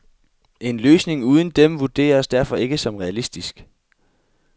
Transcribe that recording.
En løsning uden dem vurderes derfor ikke som realistisk.